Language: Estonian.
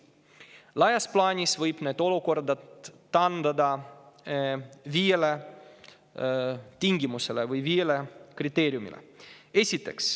Laias plaanis võib need olukorrad taandada viiele kriteeriumile.